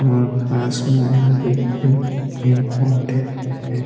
और पास में आगे हरे पेड़-पोधे हैं।